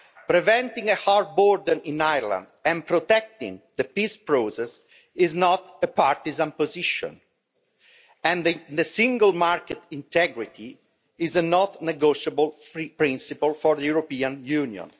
Preventing a hard border in Ireland and protecting the peace process is not a partisan position, and the single market integrity is a non negotiable free principle for the European Union.